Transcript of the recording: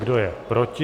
Kdo je proti?